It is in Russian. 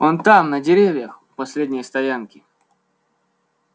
он там на деревьях у последней стоянки